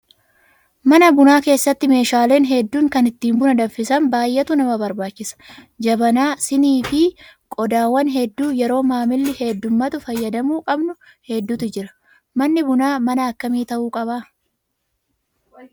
Mana bu'aa keessatti meeshaaleen hedduun kan ittiin buna danfisan baay'eetu nama barbaachisa. Jabanaa, siimii fi qodaawwan hedduu yeroo maamilli heddummaatu fayyadamuu qabnu hedduutu jira. Manni bunaa mana akkami ta'uu qaba?